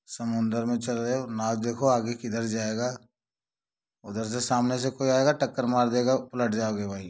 समंदर मे चल रहे हो नाव देखो आगे किधर जाएगा उधर से सामने से कोई आएगा टक्कर मार देगा उलट जाओगे भाई।